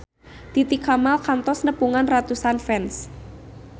Titi Kamal kantos nepungan ratusan fans